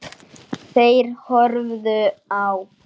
Þeir horfðu á.